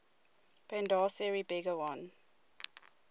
bandar seri begawan